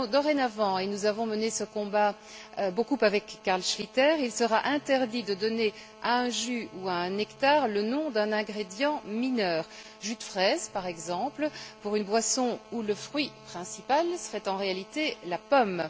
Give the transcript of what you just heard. Dorénavant et nous avons durement mené ce combat, beaucoup avec Carl Schlyter il sera interdit de donner à un jus ou à un nectar le nom d'un ingrédient mineur jus de fraise, par exemple, pour une boisson où le fruit principal serait en réalité la pomme.